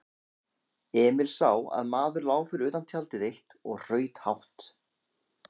Emil sá að maður lá fyrir utan tjald eitt og hraut hátt.